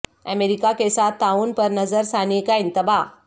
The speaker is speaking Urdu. امریکہ کے ساتھ تعاون پر نظر ثانی کا انتباہ